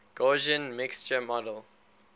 gaussian mixture model